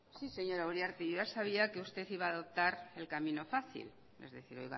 sí señora uriarte yo ya sabía que usted iba a adoptar el camino fácil es decir